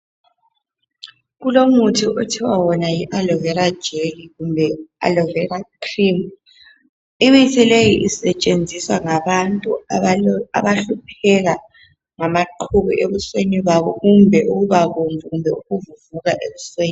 Kulomuthi okuthwa wona yiAlovera gelly kumbe alovera cream. Imithi leyi isetshenziswa ngabantu abahlupheka ngamaqhubu ebusweni babo kumbe ukubabomvu kumbe ukuvuvuka ebusweni.